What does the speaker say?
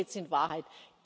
Darum geht es in Wahrheit.